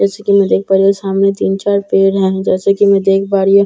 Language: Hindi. जैसे की मैं देख पा रही हूँ सामने तीन चार पेड़ हैं जैसे की मैं देख पा रही हूँ --